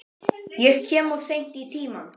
Ég kem of seint í tímann.